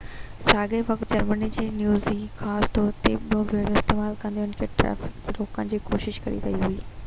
ساڳئي وقت جرمني جي نيوي خاص طور تي يو ٻيڙيون استعمال ڪندي ان ٽريفڪ کي روڪڻ جي ڪوشش ڪري رهي هئي